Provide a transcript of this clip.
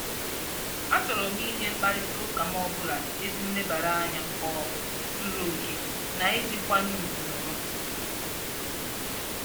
A chọrọ m inye mkparịtaụka m ọbụla ezi nlebara anya um zuru oke na iji nkwanye ugwu nọrọ.